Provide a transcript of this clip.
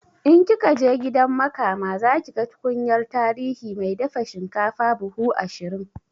In kikaje gidan makama zakiga tukunyar tarihi mai dafa shinkafa buhu ashirin